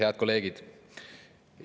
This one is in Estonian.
Head kolleegid!